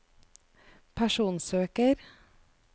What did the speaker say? personsøker